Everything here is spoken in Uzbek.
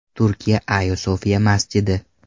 Turkiya Ayo Sofiya masjidi.